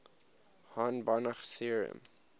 hahn banach theorem